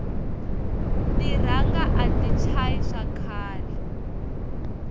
tiranga ati chayi wa khale